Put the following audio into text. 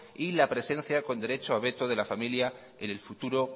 y la presencia con derecho a veto de la familia en el futuro